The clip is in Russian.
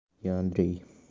я андрей